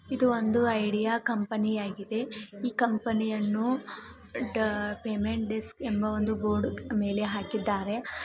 ಇದು ಒಂದು idea company ಆಗಿದೆ ಇ ಕಂಪನಿಯನ್ನು ಟ್ ಪೇಮೆಂಟ್ಡೆ ಡೆಸ್ಕ್ ಎಂಬಾ ಒಂದು ಬೋಡ್ ಮೇಲೆ ಹಾಕಿದ್ದಾರೆ.